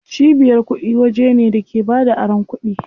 Cibiyar kuɗi waje ne da ke bada aron kuɗi.